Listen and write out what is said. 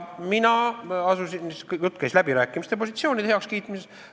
Jutt käis läbirääkimispositsioonide heakskiitmisest.